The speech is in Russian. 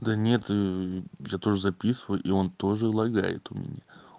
да нет я тоже записываю и он тоже лагает у меня